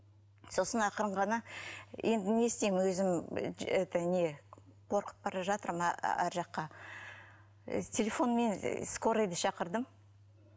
сосын ақырын ғана енді не істеймін өзім ыыы это не қорқып бара жатырмын ар жаққа телефонмен скорыйды шақырдым